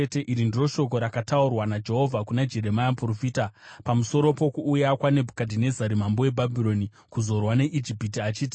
Iri ndiro shoko rakataurwa naJehovha kuna Jeremia muprofita, pamusoro pokuuya kwaNebhukadhinezari mambo weBhabhironi kuzorwa neIjipiti achiti: